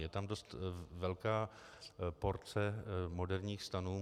Je tam dost velká porce moderních stanů.